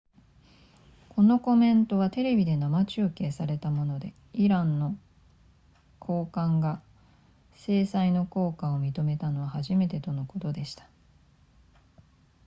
このコメントはテレビで生中継されたものでイランの高官が制裁の効果を認めたのは初めてのことでした